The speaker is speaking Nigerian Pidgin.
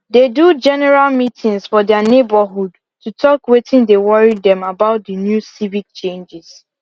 they do general meetings for their neighborhood to talk wetin dey worry them about the new civic changes